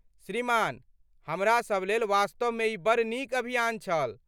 श्रीमान, हमरा सब लेल वास्तवमे ई बड़ नीक अभियान छल।